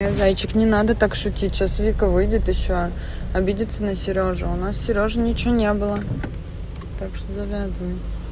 не зайчик не надо так шутить сейчас вика выйдет ещё обидится на серёжу у нас серёжей ничего не было так что завязывай